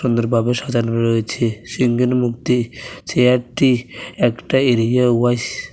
সুন্দরভাবে সাজানো রয়েছে সিংহের মূর্তি চেয়ারটি একটা এরিয়া ওয়াইস ।